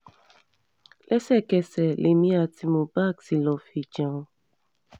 lẹ́sẹ̀kẹsẹ̀ lèmi àti mubak tí lóò fií jẹun